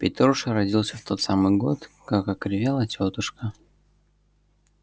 петруша родился в тот самый год как окривела тётушка